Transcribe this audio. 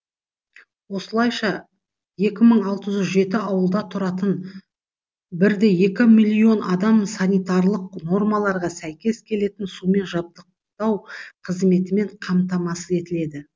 осылайша екі мың алты жүз жеті ауылда тұратын бірде екі миллион адам санитарлық нормаларға сәйкес келетін сумен жабдықтау қызметімен қамтамасыз етіледі